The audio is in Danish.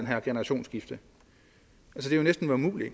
her generationsskifte